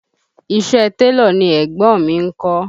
Iṣẹ́ ẹ télọ̀ ni ẹ̀gbọ́n mi ń kọ́